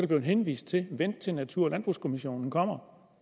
blevet henvist til vent til natur og landbrugskommissionen kommer